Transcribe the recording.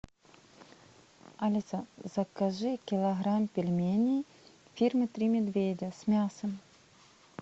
алиса закажи килограмм пельменей фирмы три медведя с мясом